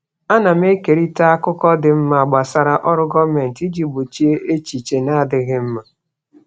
Ana m ekerịta akụkọ dị mma gbasara ọrụ gọọmentị iji gbochie echiche na-adịghị mma.